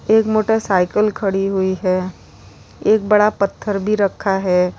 एक मोटरसाइकल खड़ी हुई है एक बड़ा पत्थर भी रखा है।